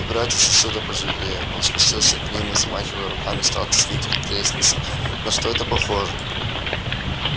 убирайтесь отсюда поживее он спустился к ним и замахивая руками стал теснить их к лестнице на что это похоже